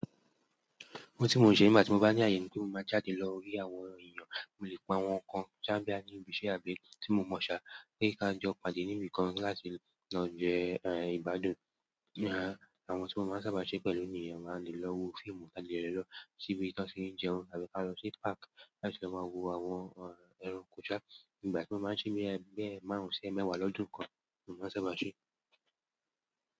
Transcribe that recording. Ohun tí mò ń ṣe nígbàtí mo bá ní àyè ni pé mo máa jáde lọ rí àwọn èèyàn, mo lè pa àwọn kan boya ní ibiṣẹ́ àbí tí mo mọ̀ sá pe ka jọ pàdé níbi kan láti lọ jẹ ìgbádùn àwọn tí mo máa ń sábà ṣe pẹ̀lú nìyen a lè lọ wo fíìmù a dè lọ ṣíbí tí wọ́n tì ń jẹun àbí ka lọ sí páàkì láti lọ máa wo àwọn ẹranko sá. Ìgbà tí mo máa ń ṣe bí ẹ́ márùn-ún sí e mẹ́wàá lọ́dún kan ni mo máa ń sábà ṣe.